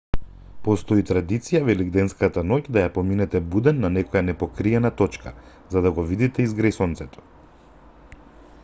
постои традиција велигденската ноќ да ја поминете буден на некоја непокриена точка за да го видите изгрејсонцето